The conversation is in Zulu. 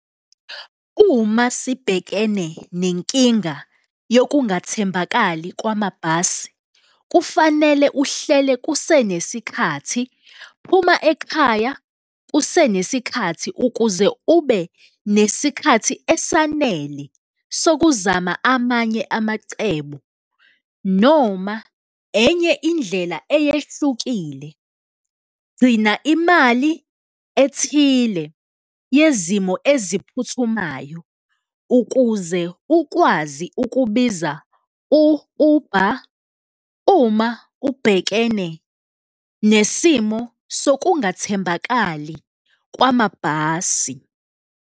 Uma sibhekene nenkinga yokungathembakali kwamabhasi, kufanele uhlele kusenesikhathi. Phuma ekhaya kusenesikhathi ukuze ube nesikhathi esanele sokuzama amanye amacebo noma enye indlela eyehlukile, gcina imali ethile yezimo eziphuthumayo ukuze ukwazi ukubiza u-Uber uma ubhekene nesimo sokungathembakali kwamabhasi.